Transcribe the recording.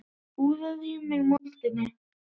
Úðað í mig moldinni.